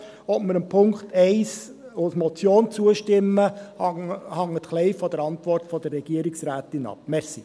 Ob wir dem Punkt 1 als Motion zustimmen, hängt ein wenig von der Antwort der Regierungsrätin ab.